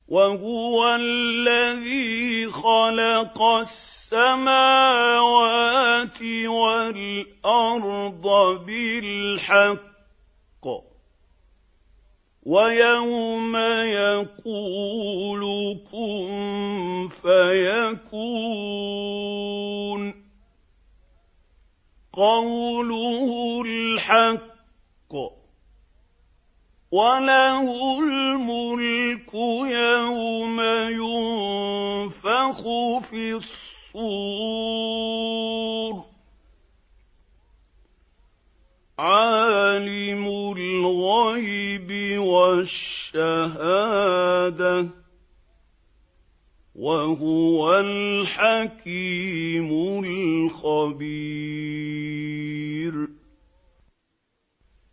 وَهُوَ الَّذِي خَلَقَ السَّمَاوَاتِ وَالْأَرْضَ بِالْحَقِّ ۖ وَيَوْمَ يَقُولُ كُن فَيَكُونُ ۚ قَوْلُهُ الْحَقُّ ۚ وَلَهُ الْمُلْكُ يَوْمَ يُنفَخُ فِي الصُّورِ ۚ عَالِمُ الْغَيْبِ وَالشَّهَادَةِ ۚ وَهُوَ الْحَكِيمُ الْخَبِيرُ